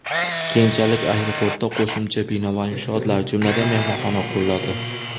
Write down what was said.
Keyinchalik aeroportda qo‘shimcha bino va inshootlar, jumladan, mehmonxona quriladi.